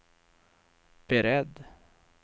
beredd